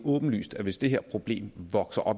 åbenlyst at hvis det her problem vokser